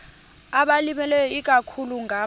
abalimileyo ikakhulu ngama